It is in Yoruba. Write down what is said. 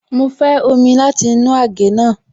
Mo fẹ́ omi láti inú àgé náà